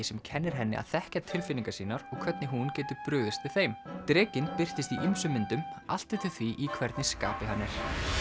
sem kennir henni að þekkja tilfinningar sínar og hvernig hún getur brugðist við þeim drekinn birtist í ýmsum myndum allt eftir því í hvernig skapi hann er